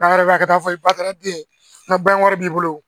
ka taa fɔ ba taara den na ban wari b'i bolo